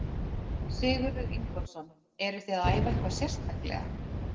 Sigurður Ingólfsson: Eruð þið að æfa eitthvað sérstaklega?